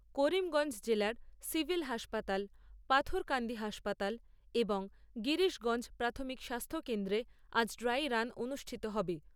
করিমগঞ্জ জেলার সিভিল হাসপাতাল, পাথারকান্দি হাসপাতাল এবং গিরিশগঞ্জ প্রাথমিক স্বাস্থ্যকেন্দ্রে আজ ড্রাই রান অনুষ্ঠিত হবে।